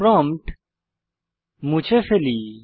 prompt মুছে ফেলি